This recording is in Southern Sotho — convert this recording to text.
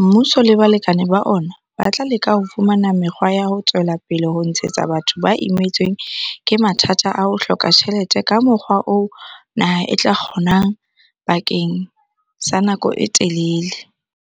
mmuso le balekane ba ona ba tla leka ho fumana mekgwa ya ho tswela pele ho tshehetsa batho ba imetsweng ke mathata a ho hloka tjhelete ka mokgwa oo naha e tla o kgona bakeng sa nako e telele.